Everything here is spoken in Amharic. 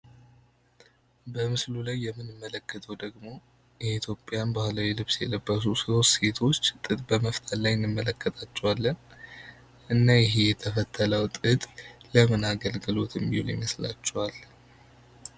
በምስሉ ላይ የምንመለከተው ደግሞ የኢትዮጵያን ባህላዊ ልብስ የለበሱ ሦስት ሴቶች ጥጥ በመፍተል ላይ እንመለከታቸዋለን። እና ይህ የተፈተለው ጥጥ ለምን አገልግሎት የሚውል ይመስላቸዋል።